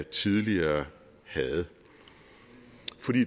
tidligere havde